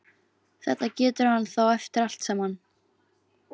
Þetta getur hann þá eftir allt saman!